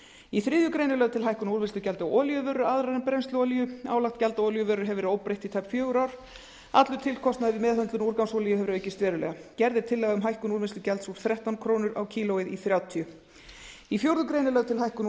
í þriðju grein er lögð til hækkun á úrvinnslugjaldi á olíuvörur aðrar en brennsluolíu álagt gjald á olíuvörur hefur verið óbreytt í tæp fjögur ár allur tilkostnaður við meðhöndlun úrgangsolíu hefur aukist verulega gerð er tillaga um hækkun úrvinnslugjalds úr þrettán komma núll núll krónur kílógrömm í fjórða grein er lögð er til hækkun